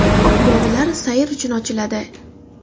Bog‘lar sayr uchun ochiladi.